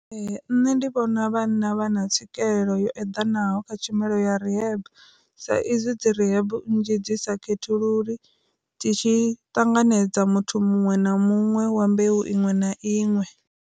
Ee nṋe ndi vhona vhana vha na tswikelelo yo edanaho kha tshumelo ya rehab, sa izwi dzi rehab nzhi dzi sa khethulula ndi tshi ṱanganedza muthu muṅwe na muṅwe wa mbeu iṅwe na iṅwe.